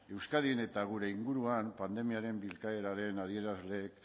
euskadin eta gure inguruan pandemiaren bilakaeraren adierazleek